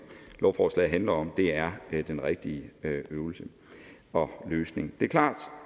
lovforslaget her handler om er den rigtige øvelse og løsning det er klart